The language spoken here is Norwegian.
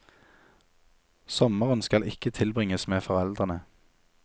Sommeren skal ikke tilbringes med foreldrene.